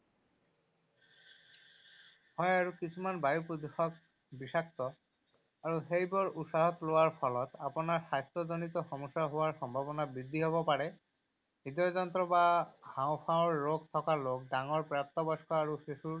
হয় আৰু কিছুমান বায়ু প্ৰদূষক বিষাক্ত। আৰু সেইবোৰ উশাহত লোৱাৰ ফলত আপোনাৰ স্বাস্থ্যজনিত সমস্যা হোৱাৰ সম্ভাৱনা বৃদ্ধি হ’ব পাৰে। হৃদয়যন্ত্ৰ বা হাঁওফাঁওৰ ৰোগ থকা লোক, ডাঙৰ প্ৰাপ্তবয়স্ক আৰু শিশুৰ